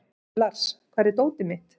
Lars, hvar er dótið mitt?